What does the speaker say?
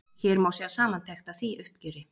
Hér má sjá samantekt af því uppgjöri.